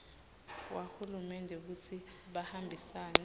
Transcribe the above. wahulumende kutsi bahambisane